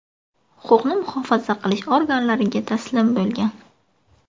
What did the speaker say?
huquqni muhofaza qilish organlariga taslim bo‘lgan.